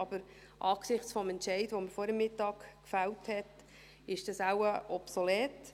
Aber angesichts des Entscheids, den man vor der Mittagspause gefällt hat, ist das wohl obsolet.